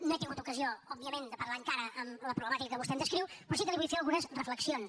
no he tingut ocasió òbviament de parlar encara amb la problemàtica que vostè hem descriu però sí que li vull fer algunes reflexions